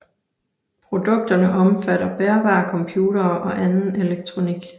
Produkterne omfatter bærbare computere og anden elektronik